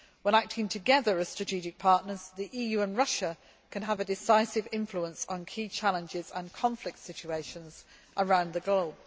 When acting together, as strategic partners, the EU and Russia can have a decisive influence on key challenges and conflict situations around the globe.